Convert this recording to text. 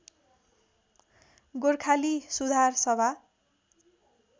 Gorkhali Sudhar Sabha